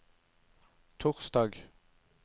torsdag